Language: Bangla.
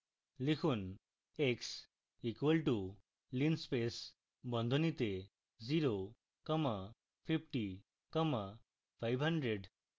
লিখুন x equals to linspace বন্ধনীতে 0 comma 50 comma 500